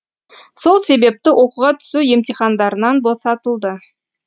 сол себепті оқуға түсу емтихандарынан босатылды